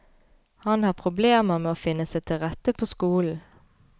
Han har problemer med å finne seg til rette på skolen.